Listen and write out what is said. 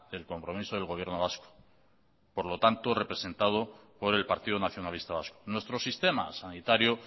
del compromiso del gobierno vasco representado por el partido nacionalista vasco nuestro sistema sanitario